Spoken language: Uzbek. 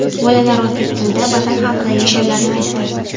Bolalar o‘zbek tilida Vatan haqidagi she’rlarni aytdi.